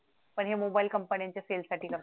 पण हे mobile mobile कंपन्यांच्या sale साठी